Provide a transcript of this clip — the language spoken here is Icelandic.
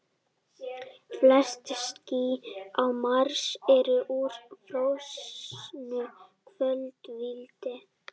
Flest ský á Mars eru úr frosnu koltvíildi.